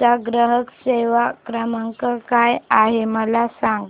चा ग्राहक सेवा क्रमांक काय आहे मला सांग